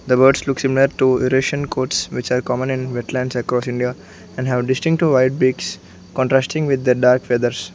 the birds looks similar to irration codes which are common in wetlands across India and have distinctive white pricks contrasting with the dark feathers.